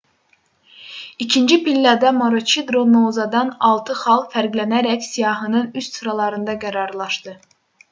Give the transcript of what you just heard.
i̇kinci pillədə maroçidro noozadan altı xal fərqlənərək siyahının üst sıralarında qərarlaşdı